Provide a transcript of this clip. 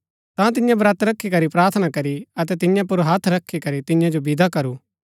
ता तिन्ये ब्रत रखी करी प्रार्थना करी अतै तियां पुर हत्थ रखी करी तियां जो विदा करू